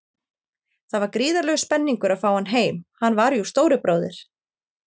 Það var gríðarlegur spenningur að fá hann heim, hann var jú stóri bróðir.